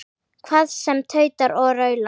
Hvað sem tautar og raular.